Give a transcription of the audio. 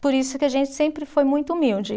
Por isso que a gente sempre foi muito humilde.